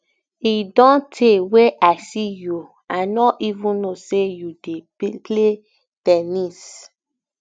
e don tey wey i see you i no even no say you dey play ten nis